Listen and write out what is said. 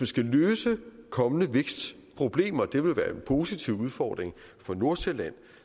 skal løse kommende vækstproblemer og det vil være en positiv udfordring for nordsjælland